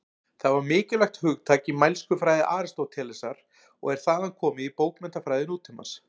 Það var mikilvægt hugtak í mælskufræði Aristótelesar og er þaðan komið í bókmenntafræði nútímans.